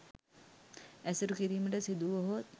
ඇසුරු කිරීමට සිදුවුවහොත්